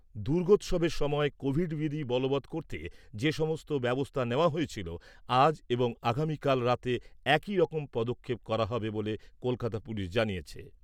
দুর্গোৎসবের সময় কোভিড বিধি বলবৎ করতে যেসব ব্যবস্থা নেওয়া হয়েছিল আজ এবং আগামীকাল রাতে একই রকম পদক্ষেপ করা হবে বলে কলকাতা পুলিশ জানিয়েছে।